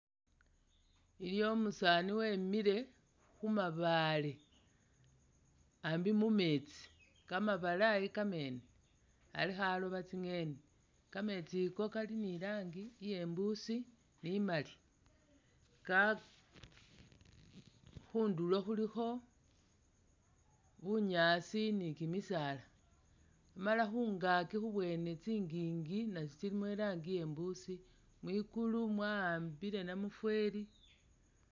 Iliwo umusaani wemile khumabaale ambi mumeetsi kamabalayi kamene Ali khaloba tsi'ngeni kameetsi ko Kali ni ranji iye'mbusi ni maali ka khundulo khulikho bunyaasi ni kimisaala Amala khungaaki khubwene tsingingi natsyo tsilimo irangi iye'mbusi, mwingulu mwaambile namufweli